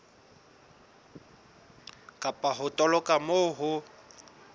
kapa ho toloka moo ho